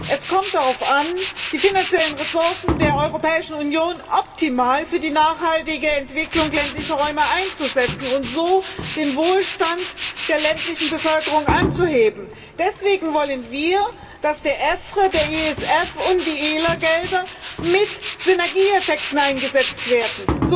Es kommt darauf an, die finanziellen Ressourcen der Europäischen Union optimal für die nachhaltige Entwicklung ländlicher Räume einzusetzen und so den Wohlstand der ländlichen Bevölkerung anzuheben. Deswegen wollen wir, dass der EFRE, der ESF und die ELER Gelder mit Synergieeffekten eingesetzt werden.